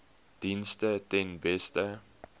dienste ten beste